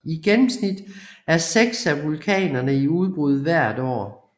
I gennemsnit er seks af vulkanerne i udbrud hvert år